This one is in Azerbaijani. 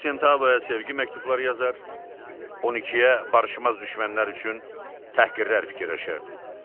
Doqquz sentavaya sevgi məktubları yazar, on ikiyə barışmaz düşmənlər üçün təhqirlər fikirləşərdi.